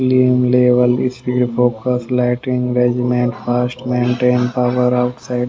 level speed focus lighting regiment fast maintain power off --